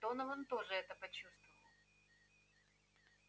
донован тоже это почувствовал